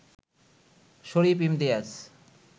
Sharif Imtiaz,